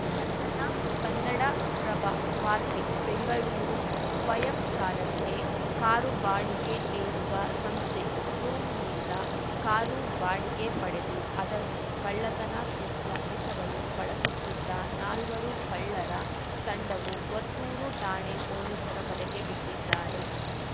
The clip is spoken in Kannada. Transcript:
ಬಂಧನ ಕನ್ನಡಪ್ರಭ ವಾರ್ತೆ ಬೆಂಗಳೂರು ಸ್ವಯಂ ಚಾಲನೆಗೆ ಕಾರು ಬಾಡಿಗೆ ನೀಡುವ ಸಂಸ್ಥೆ ಝೂಮ್‌ನಿಂದ ಕಾರು ಬಾಡಿಗೆ ಪಡೆದು ಅದನ್ನು ಕಳ್ಳತನ ಕೃತ್ಯ ಎಸೆಗಲು ಬಳಸುತ್ತಿದ್ದ ನಾಲ್ವರು ಕಳ್ಳರ ತಂಡವು ವರ್ತೂರು ಠಾಣೆ ಪೊಲೀಸರ ಬಲೆಗೆ ಬಿದ್ದಿದ್ದಾರೆ